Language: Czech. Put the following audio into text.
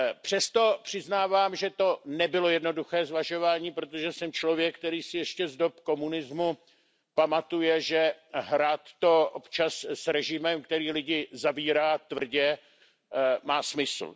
Přesto přiznávám, že to nebylo jednoduché zvažování, protože jsem člověk, který si ještě z dob komunismu pamatuje, že hrát to občas s režimem, který lidi zavírá, tvrdě, má smysl.